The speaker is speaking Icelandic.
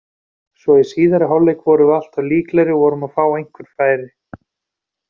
Svo í síðari hálfleik vorum við alltaf líklegri og vorum að fá einhver færi.